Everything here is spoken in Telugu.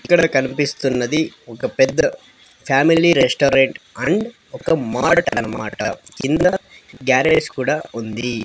ఇక్కడ కన్పిస్తున్నది ఒక పెద్ద ఫ్యామిలీ రెస్టారెంట్ అండ్ ఒక మార్ట్ అన్నమాట కింద గ్యారేజ్ కూడా ఉంది.